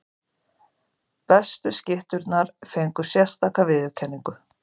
Bestu skytturnar fengu sérstaka viðurkenningu.